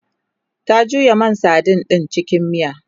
ta juya man sadin ɗin cikin miya